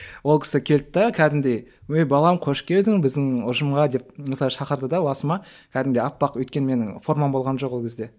ол кісі келді де кәдімгідей ой балам қош келдің біздің ұжымға деп осылай шақырды да басыма кәдімгідей аппақ өйткені менің формам болған жоқ ол кезде